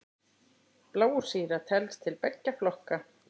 Blásýra telst til beggja flokka.